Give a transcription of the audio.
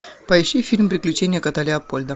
поищи фильм приключения кота леопольда